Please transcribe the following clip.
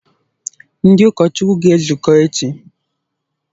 Ndị ụkọchukwu ga-ezukọ echi?